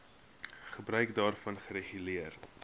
gebruik daarvan reguleer